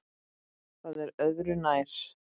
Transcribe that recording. Það er öðru nær.